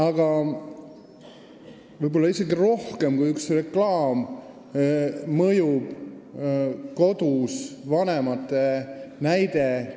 Aga võib-olla isegi rohkem kui reklaam mõjub vanemate käitumine kodus.